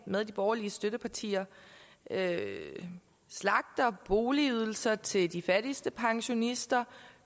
med de borgerlige støttepartier slagter boligydelser til de fattigste pensionister